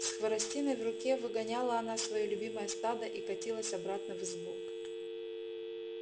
с хворостиной в руке выгоняла она своё любимое стадо и катилась обратно в избу